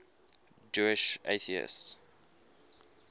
jewish atheists